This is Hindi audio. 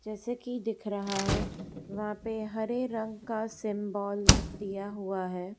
जैसे कि दिख रहा है यहां पे हरे रंग का दिया हुआ है।